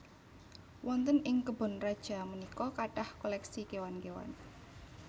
Wonten ing kebon raja punika kathah koleksi kéwan kéwan